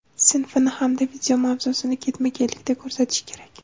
sinfini hamda video mavzusini ketma-ketlikda ko‘rsatishi kerak.